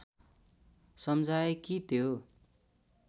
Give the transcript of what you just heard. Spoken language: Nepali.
समझाए कि त्यो